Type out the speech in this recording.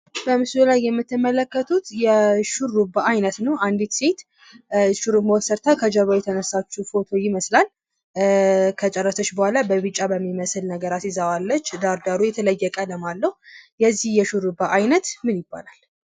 በምስሉ ላይ የምትመለከቱት የሹርባ አይነት ነው። አንድት ሴት ሹርባ ተሰርታ ከጀርባዋ የተነሳችው ፎቶ ይመስላል። ከጨረሰች በኋላ በቢጫ በሚመስል ነገር አስይዛዋለች። ዳሩ የተለየ ቀለም አለው። የዚህ የሹርባ አይነት ምን ይባላል?